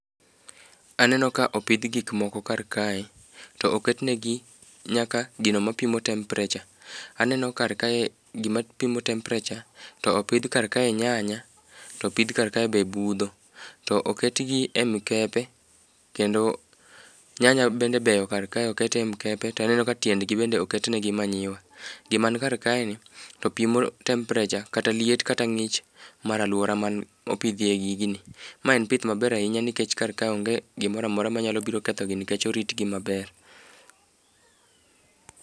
Aneno ka opidhi gik moko kar kae, to oket negi nyaka gino mopimo temperature. Anneo kar kae gima pimo temperature to ipidh kar kae nyanya, to pidh kar kae be budho, to oketgi e mkepe kendo nyanya bende beyo kar kae, okete mkepe to aneno ka tiendgi bende oket negi manyiwa. Gima ni kar kaeni to pimo temperature kata liet kata ng'ich mar alwora ma opidhie gigini. Ma en pith maber ahinya nikech kar ka onge gimora mora mabiro kethogi nikech oritgi maber.